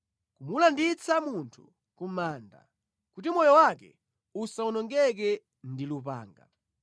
kumulanditsa munthu ku manda, kuti moyo wake usawonongeke ndi lupanga.